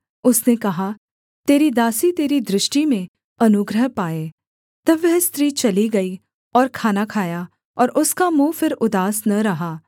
उसने कहा तेरी दासी तेरी दृष्टि में अनुग्रह पाए तब वह स्त्री चली गई और खाना खाया और उसका मुँह फिर उदास न रहा